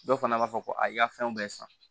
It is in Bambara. Dɔw fana b'a fɔ ko a y'i ka fɛnw bɛɛ san